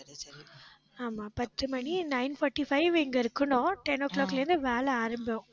ஆமா பத்து மணி nine forty-five இங்க இருக்கணும். ten o'clock ல இருந்து வேலை ஆரம்பம்